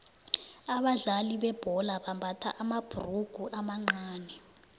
abadlali bebhola bambatha amabhurugu amancani